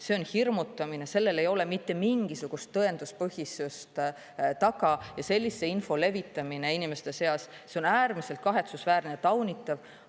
See on hirmutamine, sellel ei ole mitte mingisugust tõenduspõhisust taga ja sellise info levitamine inimeste seas on äärmiselt kahetsusväärne ja taunitav.